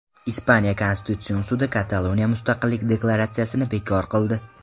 Ispaniya konstitutsion sudi Kataloniya mustaqillik deklaratsiyasini bekor qildi.